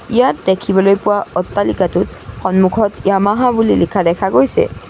ইয়াত দেখিবলৈ পোৱা অট্টালিকাটোত সন্মুখত য়ামাহা বুলি লিখা দেখা গৈছে।